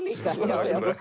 við